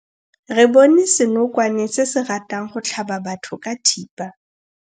Re bone senokwane se se ratang go tlhaba batho ka thipa.